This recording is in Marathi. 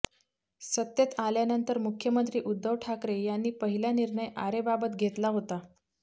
सत्तेत आल्यानंतर मुख्यमंत्री उद्धव ठाकरे यांनी पहिला निर्णय आरेबाबत घेतला होता